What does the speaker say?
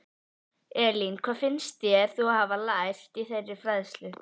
Elín: Hvað finnst þér þú hafa lært í þeirri fræðslu?